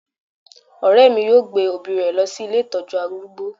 Ọ̀rẹ́ mi yóò gbé òbí rẹ̀ lọ sí ilé ìtọ́jú arúgbó